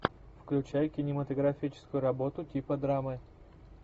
включай кинематографическую работу типа драмы